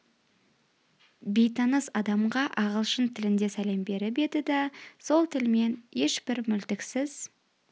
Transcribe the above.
бейтаныс адамға ағылшын тілінде сәлем беріп еді да сол тілмен ешбір мүлтіксіз